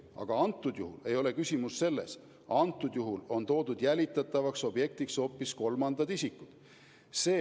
Aga antud juhul ei ole ju küsimus selles, antud juhul on toodud jälitatavateks objektideks hoopis kolmandad isikud.